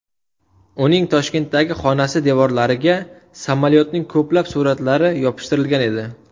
Uning Toshkentdagi xonasi devorlariga samolyotning ko‘plab suratlari yopishtirilgan edi.